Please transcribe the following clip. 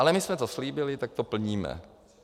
Ale my jsme to slíbili, tak to plníme.